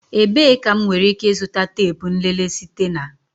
Ebee ka m nwere ike ịzụta teepu nlele site na?